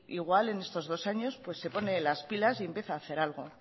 igual en estos dos años se pone las pilas y empieza a hacer algo